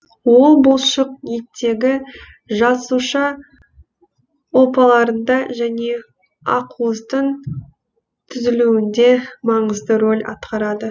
ол бұлшық еттегі жасуша ұлпаларында және ақуыздың түзілуінде маңызды рөл атқарады